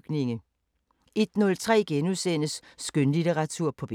04:53: Danmark kort *